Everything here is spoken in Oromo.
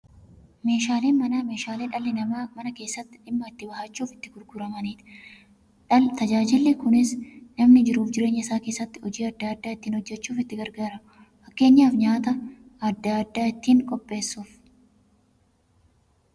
Meeshaaleen Manaa meeshaalee dhalli namaa Mana keessatti dhimma itti ba'achuuf itti gargaaramaniidha. Tajaajilli kunis, namni jiruuf jireenya isaa keessatti hojii adda adda ittiin hojjachuuf itti gargaaramu. Fakkeenyaf, nyaata adda addaa ittiin qopheessuuf.